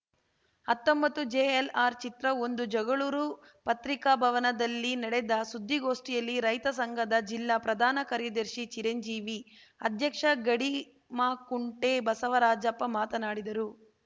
ಹತ್ತೊಂಬತ್ತು ಜೆಎಲ್‌ಆರ್‌ ಚಿತ್ರಒಂದು ಜಗಳೂರು ಪತ್ರಿಕಾಭವನದಲ್ಲಿ ನಡೆದ ಸುದ್ದಿಗೋಷ್ಠಿಯಲ್ಲಿ ರೈತ ಸಂಘದ ಜಿಲ್ಲಾ ಪ್ರಧಾನ ಕಾರ್ಯದರ್ಶಿ ಚಿರಂಜೀವಿ ಅಧ್ಯಕ್ಷ ಗಡಿಮಾಕುಂಟೆ ಬಸವರಾಜಪ್ಪ ಮಾತನಾಡಿದರು